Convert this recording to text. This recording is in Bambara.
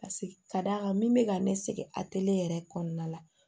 Paseke ka d'a kan min bɛ ka ne sɛgɛn a yɛrɛ kɔnɔna la